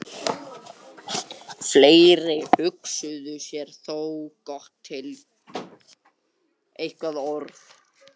Fleiri hugsuðu sér þó gott til glóðarinnar.